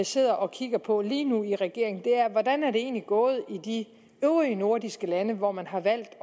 sidder og kigger på lige nu i regeringen er hvordan er det egentlig gået i de øvrige nordiske lande hvor man har valgt